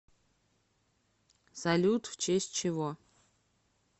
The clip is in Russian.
салют в честь чего